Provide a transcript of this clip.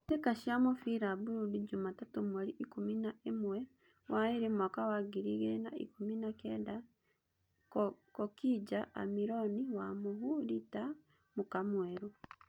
Mbĩtĩka cia mũbira Burudi Jumatatũmweri ikũmi na ĩmwe wa ĩrĩ mwaka wa ngiri igĩrĩ na ikũmi na Kenda: Cokija, Amĩroni, Wamuhu, Rita, MKamwerũ.